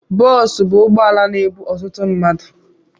Boosu bụ ụgbọala na-ebu ọtụtụ mmadu